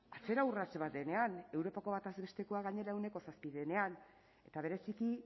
atzera urrats bat denean europako bataz bestekoa gainera ehuneko zazpi denean eta bereziki